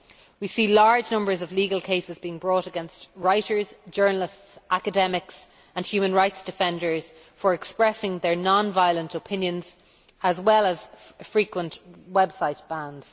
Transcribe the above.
We see large numbers of legal cases being brought against writers, journalists, academics and human rights defenders for expressing their non violent opinions, as well as frequent website bans.